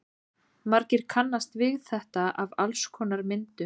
Margir kannast við þetta af alls konar myndum.